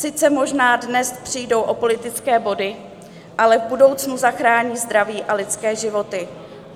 Sice možná dnes přijdou o politické body, ale v budoucnu zachrání zdraví a lidské životy.